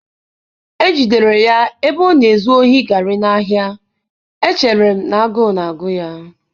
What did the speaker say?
ejidere ya na-ezu ohi garri n'ahịa, echere m na agụụ na-agụ ya.